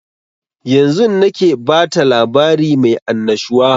Yanzun nake bata labari mai annashuwa